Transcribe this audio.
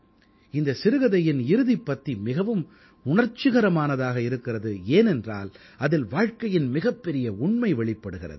இந்தச் சிறுகதையின் இறுதிப் பத்தி மிகவும் உணர்ச்சிகரமானதாக இருக்கிறது ஏனென்றால் அதில் வாழ்க்கையின் மிகப்பெரிய உண்மை வெளிப்படுகிறது